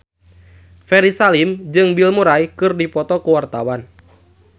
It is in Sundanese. Ferry Salim jeung Bill Murray keur dipoto ku wartawan